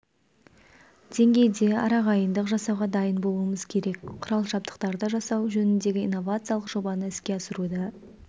деңгейде араағайындық жасауға дайын болуымыз керек құрал-жабдықтарды жасау жөніндегі инновациялық жобаны іске асыруда